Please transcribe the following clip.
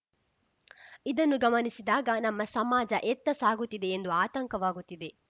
ಇದನ್ನು ಗಮನಿಸಿದಾಗ ನಮ್ಮ ಸಮಾಜ ಎತ್ತ ಸಾಗುತ್ತಿದೆ ಎಂದು ಆತಂಕವಾಗುತ್ತಿದೆ